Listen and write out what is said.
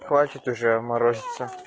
хватит уже морозиться